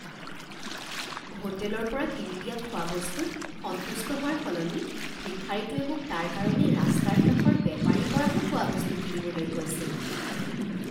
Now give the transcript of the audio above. হোটেলৰ পৰা কিনি দিয়া খোৱাবস্তুত সন্তুষ্ট হোৱাৰ সলনি ভিক্ষাৰীটোৱে মোক তাৰ কাৰণে ৰাস্তাৰ কাষৰ বেপাৰীৰ পৰাহে খোৱাবস্তু কিনিবলৈ কৈছিল